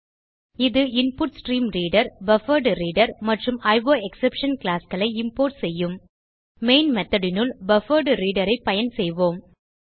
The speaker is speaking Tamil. இது இன்புட்ஸ்ட்ரீம்ரீடர் பஃபர்ட்ரீடர் மற்றும் அயோஎக்ஸ்செப்ஷன் கிளாஸ் களை இம்போர்ட் செய்யும் மெயின் methodனுள் பஃபர்ட்ரீடர் பயன் செய்வோம்